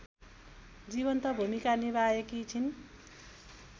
जीवन्त भूमिका निभाएकी छिन्